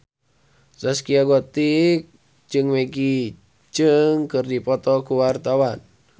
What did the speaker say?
Zaskia Gotik jeung Maggie Cheung keur dipoto ku wartawan